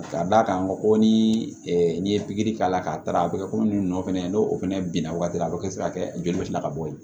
Ka d'a kan n ko ni ye pikiri k'a la k'a taara a bɛ kɛ komi nɔ fana n'o fɛnɛ binna wagati a bɛ kɛ sira kɛ joli bɛ tila ka bɔ yen